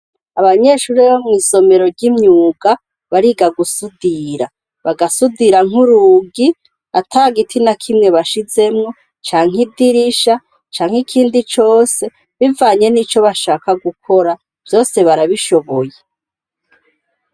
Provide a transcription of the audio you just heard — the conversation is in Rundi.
Abanyeshuri bo mu isomero ry'imyuga bariga gusudira bagasudira nk'urugi ata giti na kimwe bashizemo cankke idirisha canke ikindi cose bivanye n'ico bashaka gukora vyose barabishoboye.